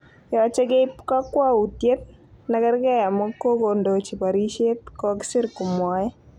Yoche keib kokwoutyet nekerge amun kokondochi borishet, kokisir komwoe.